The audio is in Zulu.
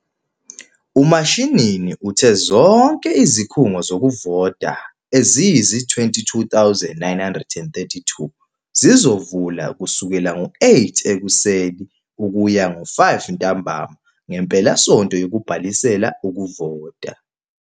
UMashinini uthe zonke izikhungo zokuvota eziyizi-22 932 zizovula kusukela ngo-08h00 ukuya ngo-17h00 ngempelasonto yokubhalisela ukuvota.